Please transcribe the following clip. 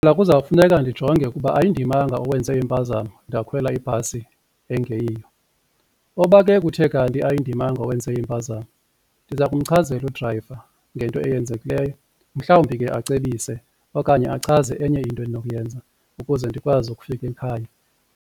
Mna kuzawufuneka ndijonge ukuba ayindimanga owenze impazamo ndakhwela ibhasi engeyiyo, oba ke kuthe kanti ayindimanga owenze impazamo ndiza kumchazela udrayiva ngento eyenzekileyo mhlawumbi ke acebise okanye achaze enye into endinokuyenza ukuze ndikwazi ukufika ekhaya.